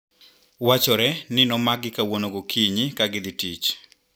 Wachore ni nomakgi kawuono gokinyi kagidhii tich.